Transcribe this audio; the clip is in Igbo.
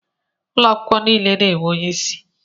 Ụlọ akwụkwọ niile na-enwe onyeisi.